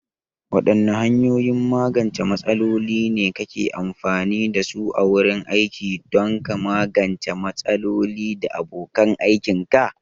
Waɗanne hanyoyin magance matsaloli ne kake amfani da su a wurin aiki don ka magance matsaloli da abokan aikinka?